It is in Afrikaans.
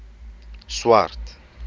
swart